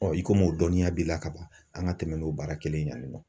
i komi o dɔnniya b'i la kaban an ka tɛmɛ n'o baara kelen ye yan nin nɔ.